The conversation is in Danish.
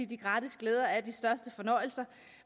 de gratis glæder er de største fornøjelser